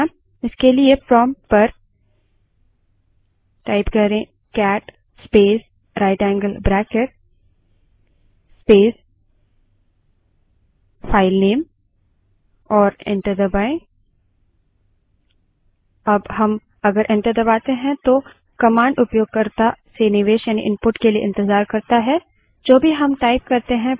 आप उसके कंटेंट्स देख सकते हैं दरअसल cat का एक और मुख्य उपयोग है file को बनाना इसके लिए prompt पर cat space right angle bracket space filename type करें और enter दबायें